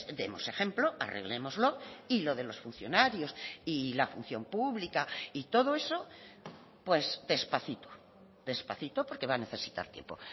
demos ejemplo arreglémoslo y lo de los funcionarios y la función pública y todo eso pues despacito despacito porque va a necesitar tiempo